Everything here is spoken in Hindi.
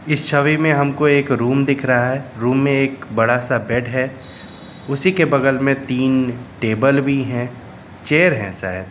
इस छवि में हमको एक रूम दिख रहा है रूम में एक बड़ा सा बेड है उसी के बगल में तीन टेबल भी हैं चेयर हैं शायद।